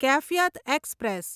Kaifiyat express